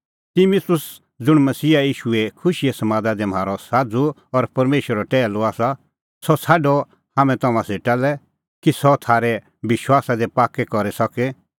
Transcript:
तिमुतुस ज़ुंण मसीहा ईशूए खुशीए समादा दी म्हारअ साझ़ू और परमेशरो टैहलू आसा सह छ़ाडअ हाम्हैं तम्हां सेटा लै कि सह तम्हां थारै विश्वासा दी पाक्कै करी सके